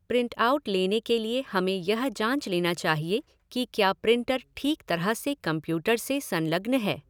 Print out लेने के लिए हमें यह जाँच लेना चाहिए कि क्या प्रिंटर ठीक तरह से कम्प्यूटर से संलग्न है।